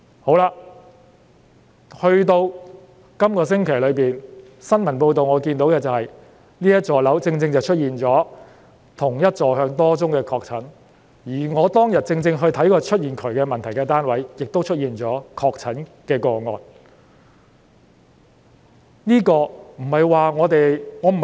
到了這星期，我從新聞報道得知，該幢大廈正正出現了多宗同一座向不同樓層的確診個案，而我當天發現喉管有問題的單位，亦出現確診個案。